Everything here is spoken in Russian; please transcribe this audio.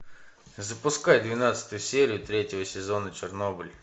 запускай двенадцатую серию третьего сезона чернобыль